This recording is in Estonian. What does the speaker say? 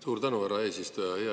Suur tänu, härra eesistuja!